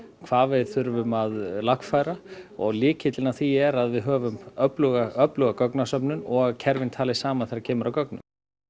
hvað við þurfum að lagfæra og lykillinn að því er að við höfum öfluga öfluga gagnasöfnun og að kerfin tali saman þegar kemur að gögnum